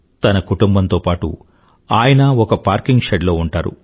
తన కుటుంబంతో పాటూ ఆయన ఒక పార్కింగ్ షెడ్ లో ఉంటారు